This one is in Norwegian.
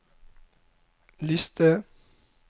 liste